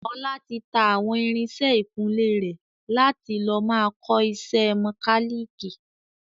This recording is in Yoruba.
Ọlá tí tá àwọn irinsẹ́ ìkunlé rẹ̀ láti lọ máa kọ ìṣe mọ́káliikì